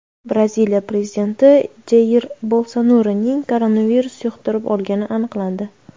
Braziliya prezidenti Jair Bolsonaruning koronavirus yuqtirib olgani aniqlandi.